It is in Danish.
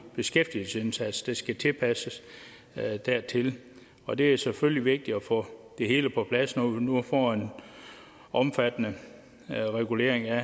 beskæftigelsesindsats de skal tilpasses dertil og det er selvfølgelig vigtigt at få det hele på plads når vi nu får en omfattende regulering af